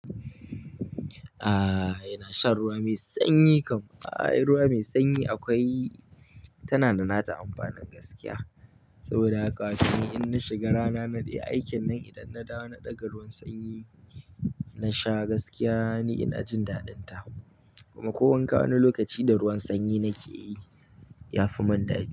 Aaa, yana shan ruwa mai sanyi kam. Ai, ruwa mai sanyi akwai-- tana da nata amfanin gaskiya. Saboda haka ace ni in na shiga rana naɗe aikin nan idan na dawo na ɗaga ruwan sanyi na sha gaskiya ni ina jin dadin ta. Kuma ko wanka wani lokaci da ruwan sanyi nake yi, ya fi man dadi.